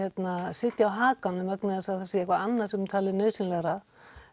sitja á hakanum því það sé eitthvað annað sem er talið nauðsynlegra